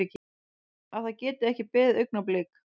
Að það geti ekki beðið augnablik.